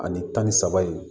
Ani tan ni saba in